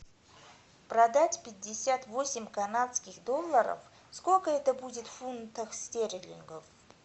продать пятьдесят восемь канадских долларов сколько это будет в фунтах стерлингов